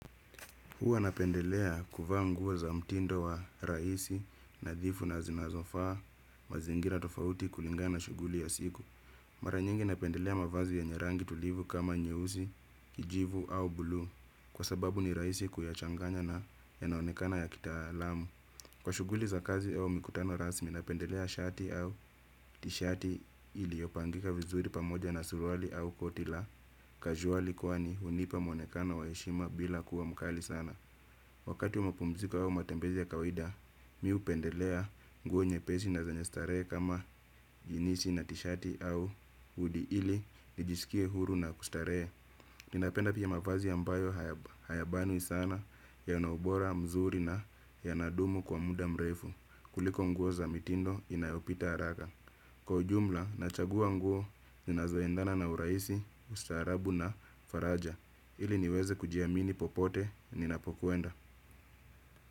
Huwa napendelea kuvaa nguo za mtindo wa rahisi, nadhifu na zinazofaa mazingira tofauti kulingana na shughuli ya siku. Mara nyingi napendelea mavazi yenye rangi tulivu kama nyeusi, kijivu au buluu, kwa sababu ni rahisi kuyachanganya na yanaonekana ya kitaalamu. Kwa shughuli za kazi au mikutano rasmi, napendelea shati au tishati iliyopangika vizuri pamoja na suruali au koti la casual, kwani hunipa muonekano wa heshima bila kuwa mkali sana. Wakati wa mapumziko au matembezi ya kawaida, mimi hupendelea nguo nyepesi na zenyestarehe kama jinisi na tishati au hudi, ilinijisikie huru na kustarehe. Ninapenda pia mavazi ambayo hayabani sana, yanaubora mzuri na yanadumu kwa muda mrefu, kuliko nguo za mitindo inayopita haraka. Kwa ujumla, nachagua nguo ninazoendana na urahisi, ustaarabu na faraja, ili niweze kujiamini popote ninapokwenda.